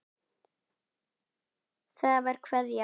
Það var Kveðja.